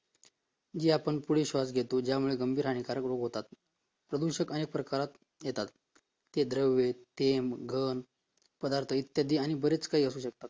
या आपण पुढे श्वास घेतो ज्यामुळे आपण गंभीर हानिकारक रोग होतात प्रदूषण आणि प्रकारात येतात ते द्रव ते घन पदार्थ आणि बरच काही असू शकते